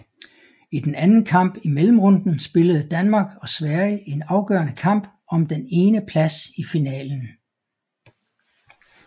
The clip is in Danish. I den anden kamp i mellemrunden spillede Danmark og Sverige en afgørende kamp om den ene plads i finalen